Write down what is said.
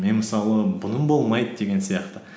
мен мысалы бұның болмайды деген сияқты